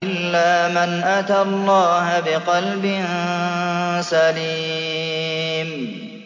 إِلَّا مَنْ أَتَى اللَّهَ بِقَلْبٍ سَلِيمٍ